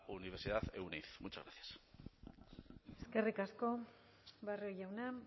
universidad euneiz muchas gracias eskerrik asko barrio jauna